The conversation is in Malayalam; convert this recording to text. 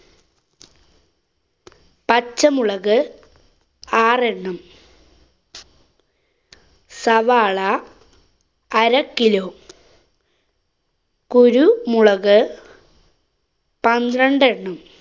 പച്ചമുളക് ആറെണ്ണം സവാള, അര kilo കുരു മുളക് പന്ത്രണ്ടെണ്ണം